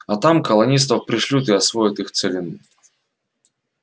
а там колонистов пришлют и освоят их целину